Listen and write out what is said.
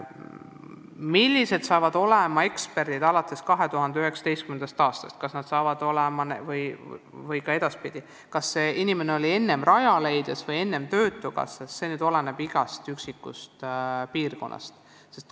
Kuidas hakkab kõik olema alates 2019. aastast, kus keegi töötama hakkab, see oleneb konkreetsest piirkonnast.